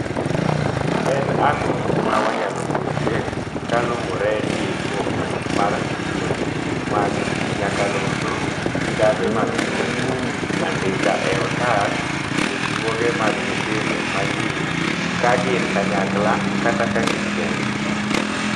En ang'o ma wanyalo puonjre kaluwore gi dwoko mar puonj mag nyakalondo, kambe mag somo, andika e otas puonjruoge mag nyithindo ma nyir ka gin kanyakla kata ka gin kendgi?